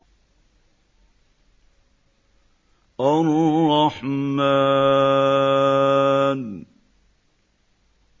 الرَّحْمَٰنُ